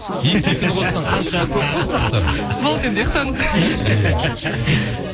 екіге екіні қоссаң қанша көп қой сұрақтар болды енді ұйқтаңыз иә